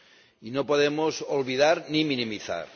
Y no podemos olvidar ni minimizar.